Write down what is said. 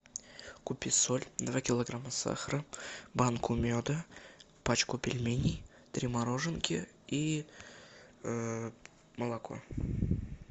купи соль два килограмма сахара банку меда пачку пельменей три мороженки и молоко